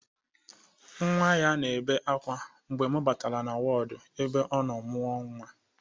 Nnwa ya na-ebe akwa mgbe mụ batara na wọd ebe ọ nọ mụọ nnwa.